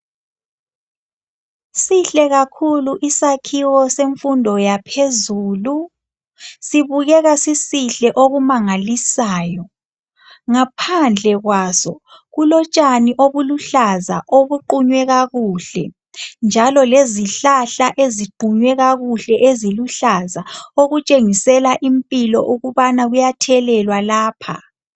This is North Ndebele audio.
sihle kakhulu isakhiwo semfundo yaphezulu sibukeka sisihle okumangalisayo ngaphandle kwaso kulotshani obuluhlaza obuqhunye kakuhle njalo lezihlahla eziqhunye kakuhle eziluhlaza okutshengisela impilo ukuba kuyaphileka lapho